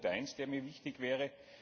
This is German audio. Das ist Punkt1, der mir wichtig wäre.